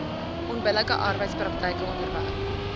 onbillike arbeidspraktyke onderwerp